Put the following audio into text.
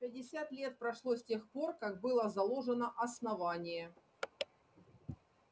пятьдесят лет прошло с тех пор как было заложено основание